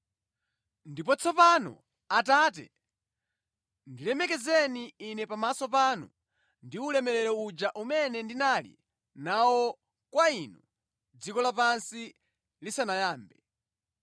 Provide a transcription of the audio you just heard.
Ndipo tsopano, Atate, ndilemekezeni Ine pamaso panu ndi ulemerero uja umene ndinali nawo kwa Inu dziko lapansi lisanayambe.